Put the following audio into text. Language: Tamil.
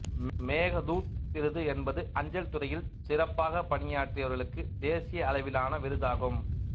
மேகதூத் விருது என்பது அஞ்சல்துறையில் சிறப்பாக பணியாற்றியவர்களுக்கு தேசிய அளவிலான விருதாகும்